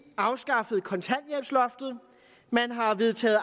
afskaffet kontanthjælpsloftet man har vedtaget